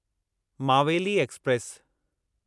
Maveli express